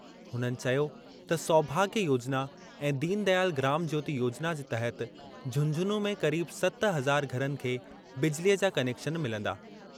हुननि चयो त सौभाग्य योजना ऐं दीनदयाल ग्राम ज्योति योजना जे तहत झुंझुनूं में क़रीब सत हज़ार घरनि खे बिजलीअ जा कनेक्शन मिलंदा।